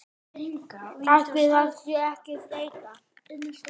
Ætli það sé ekki þreyta